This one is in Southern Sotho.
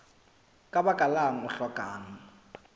ka baka lang o hlokang